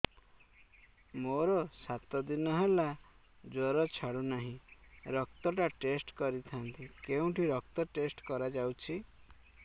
ମୋରୋ ସାତ ଦିନ ହେଲା ଜ୍ଵର ଛାଡୁନାହିଁ ରକ୍ତ ଟା ଟେଷ୍ଟ କରିଥାନ୍ତି କେଉଁଠି ରକ୍ତ ଟେଷ୍ଟ କରା ଯାଉଛି